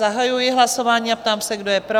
Zahajuji hlasování a ptám se, kdo je pro?